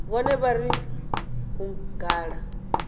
vhone vha ri u gala